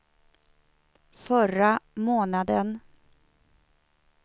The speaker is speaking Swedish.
förra månaden